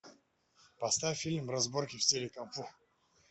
поставь фильм разборки в стиле кунг фу